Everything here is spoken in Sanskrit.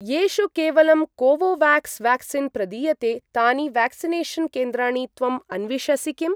येषु केवलं कोवोवाक्स् वाक्सीन् प्रदीयते तानि व्याक्सिनेषन् केन्द्राणि त्वम् अन्विषसि किम्?